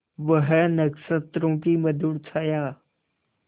वह नक्षत्रों की मधुर छाया